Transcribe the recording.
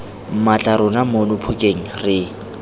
mmatla rona mono phokeng re